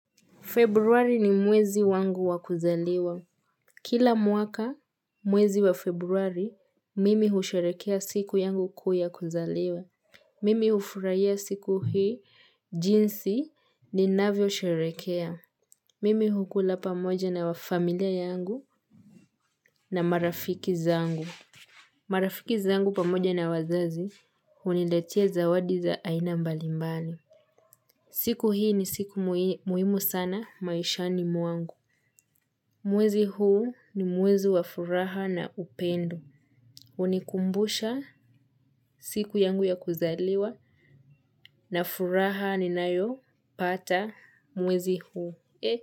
Februari ni mwezi wangu wakuzaliwa. Kila mwaka mwezi wa februari, mimi husherekea siku yangu ku ya kuzaliwa. Mimi ufuraia siku hii, jinsi ninavio sherekea. Mimi hukula pamoja na wafamilia yangu na marafiki zangu. Marafiki zangu pamoja na wazazi, huniletea zawadi za aina mbalimbali. Siku hii ni siku muhimu sana maishani muangu. Muwezi huu ni muwezi wa furaha na upendo. Unikumbusha siku yangu ya kuzaliwa na furaha ni nayo pata muwezi huu.